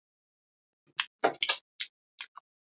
Nei ekki enn.